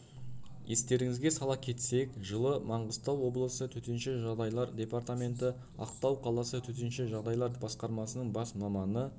естеріңізге сала кетсек жылы маңғыстау облысы төтенше жағдайлар департаменті ақтау қаласы төтенше жағдайлар басқармасының бас маманы